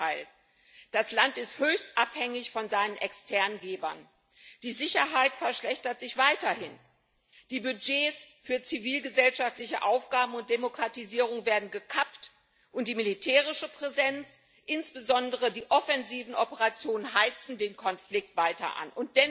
Im Gegenteil Das Land ist höchst abhängig von seinen externen Gebern, die Sicherheit verschlechtert sich weiterhin, die Budgets für zivilgesellschaftliche Aufgaben und Demokratisierung werden gekappt, und die militärische Präsenz, insbesondere die offensiven Operationen, heizt den Konflikt weiter an.